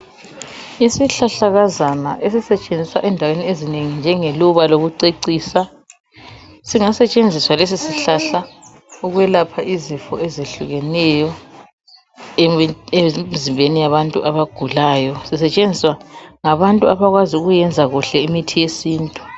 Isihlahlakazana esisetshenziswa endaweni ezinengi njengeluba lokucecisa, singasetshenziswa lesi sihlahla ukwelapha izifo ezehlukeneyo emzimbeni yabantu abagulayo. Sisetshenziswa ngabantu abakwazi ukuyenza kuhle imithi yesintu.